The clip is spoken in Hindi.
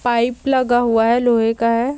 पाइप लगा हुआ है लोहे का है।